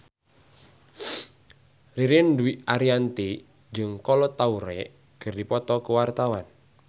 Ririn Dwi Ariyanti jeung Kolo Taure keur dipoto ku wartawan